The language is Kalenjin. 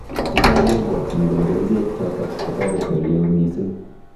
Chechang kobwatchin kole kerichek chotok kotareti oleoo missing